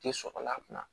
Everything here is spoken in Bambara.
Te sɔrɔla a kunna